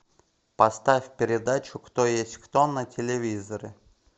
поставь передачу кто есть кто на телевизоре